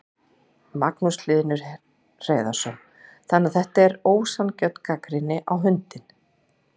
Magnús Hlynur Hreiðarsson: Þannig að þetta er ósanngjörn gagnrýni á hundinn?